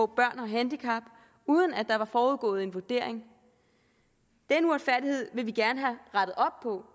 børn med handicap uden at der en forudgående vurdering den uretfærdighed vil vi gerne have rettet op på